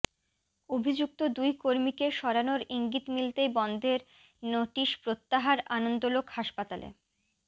অভিযুক্ত দুই কর্মীকে সরানোর ইঙ্গিত মিলতেই বন্ধের নোটিশ প্রত্যাহার আনন্দলোক হাসপাতালে